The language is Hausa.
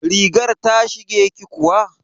Rigar ta shige ki kuwa?